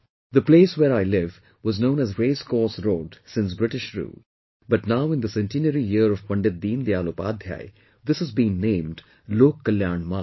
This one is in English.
The place where I live was known as Race Course Road since British rule but now in the centenary year of Pandit Deen Dayal Updhyay this has been named 'Lok Kalyan Marg'